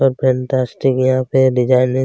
सब फैंटास्टिक यहाँ पे डिजाईन --